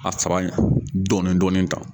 A dɔɔni dɔɔni tan.